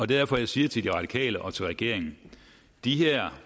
derfor jeg siger til de radikale og til regeringen det her